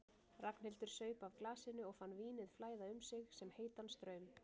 Ragnhildur saup af glasinu og fann vínið flæða um sig sem heitan straum.